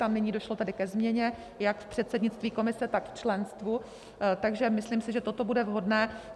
Tam nyní došlo tedy ke změně jak v předsednictví komise, tak v členstvu, takže si myslím, že toto bude vhodné.